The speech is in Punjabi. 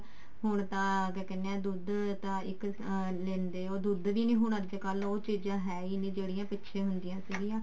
ਹੁਣ ਤਾਂ ਕਿਆ ਕਹਿਨੇ ਹਾਂ ਦੁੱਧ ਤਾਂ ਅਮ ਇੱਕ ਲੈਂਦੇ ਹੋ ਦੁੱਧ ਵੀ ਨੀ ਉਹ ਚੀਜ਼ਾਂ ਹੈ ਹੀ ਨਹੀਂ ਜਿਹੜੀਆਂ ਪਿੱਛੇ ਹੁੰਦੀਆਂ ਸੀਗੀਆਂ